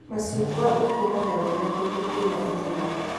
Mĩcungwa ĩkũraga wega kũndũ kwĩna irĩma